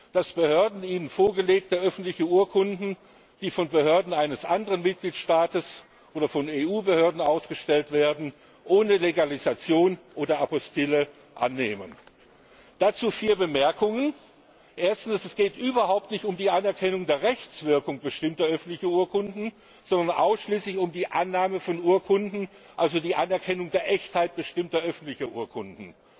ist, dass Behörden ihnen vorgelegte öffentliche Urkunden, die von Behörden eines anderen Mitgliedstaats oder von EU Behörden ausgestellt werden, ohne Legalisation oder Apostille annehmen. Dazu vier Bemerkungen. Erstens Es geht überhaupt nicht um die Anerkennung der Rechtswirkung bestimmter öffentlicher Urkunden, sondern ausschließlich um die Annahme von Urkunden, also um die Anerkennung der Echtheit bestimmter öffentlicher Urkunden.